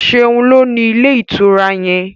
Seun ló ní Ilé-ìtura yén.